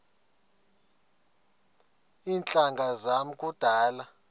iintanga zam kudala